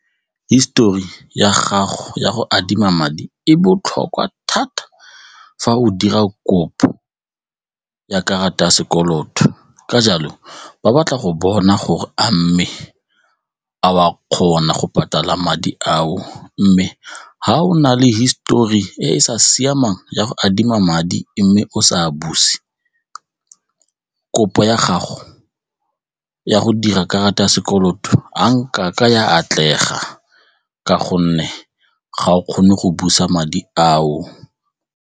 Hisetori ya gago ya go adima madi e botlhokwa thata fa o dira kopo ya karata ya sekoloto ka jalo ba batla go bona gore a mme, a o a kgona go patala madi ao mme ga o na le hisetori e e sa siamang ya go adima madi mme o sa a buse, kopo ya gago ya go dira karata ya sekoloto a nkake ya atlega ka gonne ga o kgone go busa madi ao.